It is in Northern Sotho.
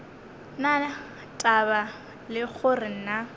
na taba le gore na